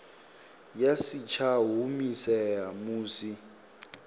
ya si tsha humisea musi